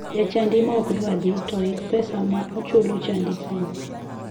Jachadi ma okdwar dhi to oyik pesa ma ochulo chadi kiny.